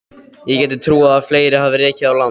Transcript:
Ég gæti trúað að fleiri hafi rekið á land.